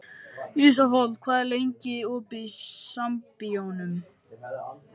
Ísafold, hvað er lengi opið í Sambíóunum?